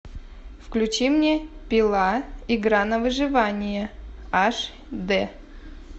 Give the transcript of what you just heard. включи мне пила игра на выживание аш дэ